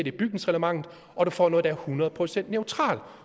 i bygningsreglementet og du får noget der er hundrede procent neutralt